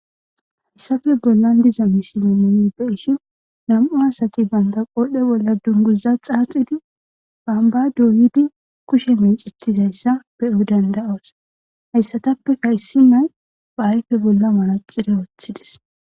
Hayssafe bollan diza misile mumibe ishin nam'u asati baynta qoohdhe bolla dunguza xaaxidi bamba duuyidi kushe mecetizayssa be'eu danda'as hayssatappeka issi nay ba ayfe bolla malaxire ooththides.